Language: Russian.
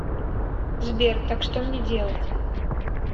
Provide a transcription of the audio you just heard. сбер так что мне делать